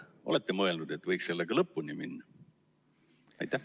Kas olete mõelnud, et võiks sellega lõpuni minna?